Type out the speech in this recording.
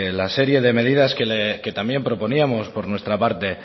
la serie de medidas que también proponíamos por nuestra parte